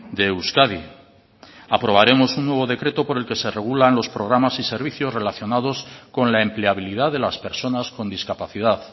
de euskadi aprobaremos un nuevo decreto por el que se regulan los programas y servicios relacionados con la empleabilidad de las personas con discapacidad